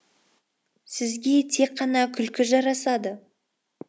сізге тек қана күлкі жарасады